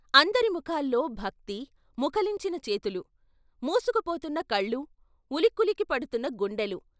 అందరి ముఖాల్లో భక్తి, ముకుళించిన చేతులు, మూసుకుపోతున్న కళ్ళు, ఉలికులికి పడుకున్న గుండెలు.